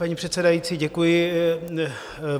Paní předsedající, děkuji.